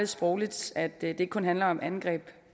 sprogligt at det ikke kun handler om angreb